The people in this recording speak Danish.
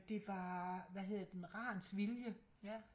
Det var hvad hedder den Rans vilje